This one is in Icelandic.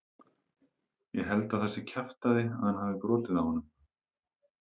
Ég held að það sé kjaftæði að hann hafi brotið á honum.